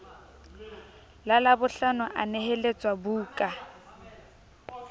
la labohlano a neheletswa buka